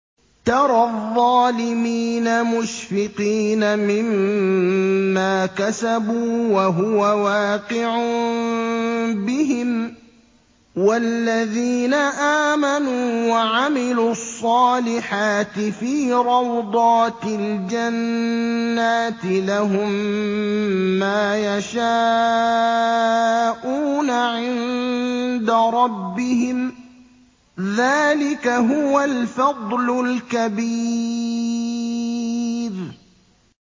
تَرَى الظَّالِمِينَ مُشْفِقِينَ مِمَّا كَسَبُوا وَهُوَ وَاقِعٌ بِهِمْ ۗ وَالَّذِينَ آمَنُوا وَعَمِلُوا الصَّالِحَاتِ فِي رَوْضَاتِ الْجَنَّاتِ ۖ لَهُم مَّا يَشَاءُونَ عِندَ رَبِّهِمْ ۚ ذَٰلِكَ هُوَ الْفَضْلُ الْكَبِيرُ